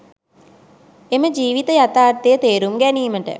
එම ජීවිත යථාර්ථය තේරුම් ගැනීමට,